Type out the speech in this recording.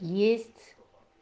есть